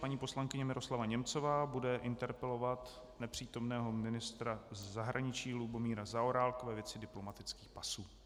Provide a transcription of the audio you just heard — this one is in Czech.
Paní poslankyně Miroslava Němcová bude interpelovat nepřítomného ministra zahraničí Lubomíra Zaorálka ve věci diplomatických pasů.